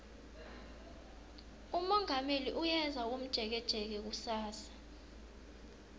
umongameli uyeza komjekejeke kusasa